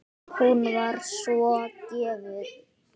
Hún var svo gjöful.